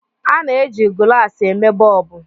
a na-eji gụlàsị eme bọlbụ